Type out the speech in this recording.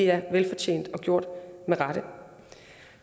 er velfortjent og gjort med rette